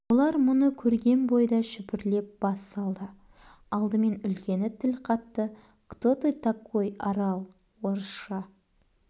олар мұны көрген бойда шүпірлеп бас салды алдымен үлкені тіл қатты кто ты такой арал орысша